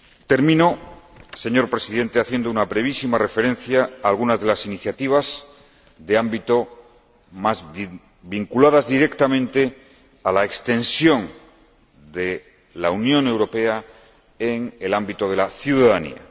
Termino, señor Presidente, haciendo una brevísima referencia a algunas de las iniciativas vinculadas directamente a la extensión de la Unión Europea en el ámbito de la ciudadanía.